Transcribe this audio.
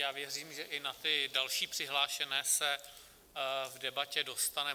Já věřím, že i na ty další přihlášené se v debatě dostane.